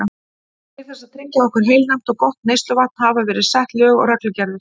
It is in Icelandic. Til þess að tryggja okkur heilnæmt og gott neysluvatn hafa verið sett lög og reglugerðir.